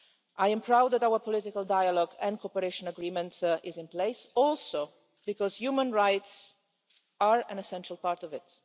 I am proud that our political dialogue and cooperation agreement is in place, also because human rights are an essential part of it.